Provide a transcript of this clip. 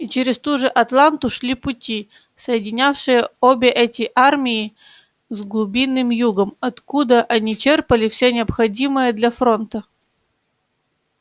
и через ту же атланту шли пути соединявшие обе эти армии с глубинным югом откуда они черпали всё необходимое для фронта